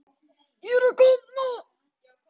Ég er að kafna.